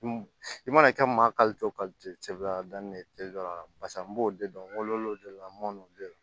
I mana kɛ maa n b'o de dɔn ngolo de la n m'olu de dɔn